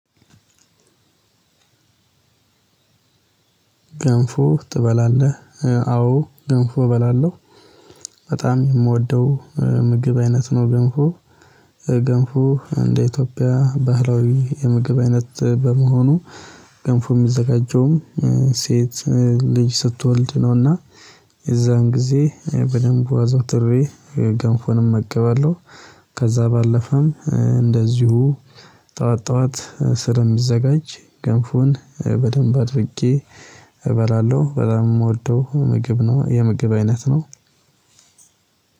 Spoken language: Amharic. ገንፎ ትበላለህ አዎ ገንፎ እበላለሁ። በጣም የምወደው ምግብ አይነት ነው ገንፎ። ገንፎ እንደ ኢትዮጵያ ባህላዊ የምግብ አይነት በመሆኑ። ገንፉ የሚዘጋጀውም ሴት ልጅ ስትወልድ ነውና። የዛን ጊዜ በደንብ አዘውትሬ ገንፎን እመገባለሁ። ከዛ ባለፈም እንደዚሁ ጠዋት ጠዋት ስር የሚዘጋጅ ገንፎን በደንብ አድርጌ እበላለሁ። በጣም የምወደው ምግብ ነው የምግብ አይነት ነው።